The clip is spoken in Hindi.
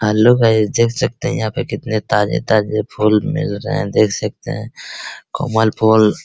हैलो गाइज देख सकते हैं यहां पे कितने ताजे-ताजे फूल मिल रहे है देख सकते हैं कमल फूल --